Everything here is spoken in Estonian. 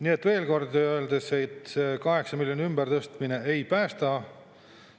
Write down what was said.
Nii et veel kord, see 8 miljoni ümbertõstmine ei päästa.